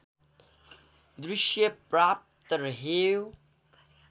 दृश्य पर्याप्त रह्यो